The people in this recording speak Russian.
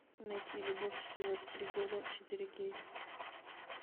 найти любовь живет три года четыре кей